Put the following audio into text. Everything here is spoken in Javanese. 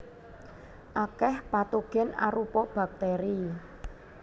Akèh patogen arupa bakteri